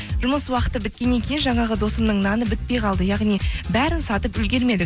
жұмыс уақыты біткеннен кейін жаңағы досымның наны бітпей қалды яғни бәрін сатып үлгермедік